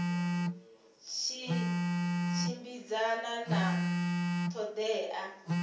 tshi tshimbidzana na ṱho ḓea